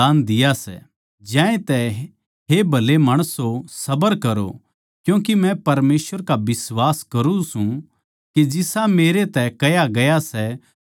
ज्यांतै हे भले माणसों सब्र करो क्यूँके मै परमेसवर का बिश्वास करूँ सूं के जिसा मेरै तै कह्या गया सै उसाए होगा